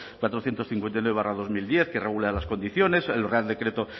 cuatrocientos cincuenta y nueve barra dos mil diez que regula las condiciones el real decreto